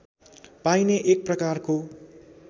पाइने एक प्रकारको